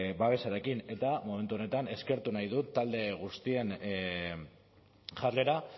babesarekin eta momentu honetan eskertu nahi dut talde guztien jarrera